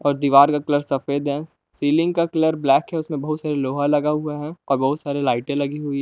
और दीवार का कलर सफेद है सीलिंग का कलर ब्लैक है उसमे बहुत सारी लोहा लगा हुआ है और बहुत सारे लाइटें लगी हुई हैं।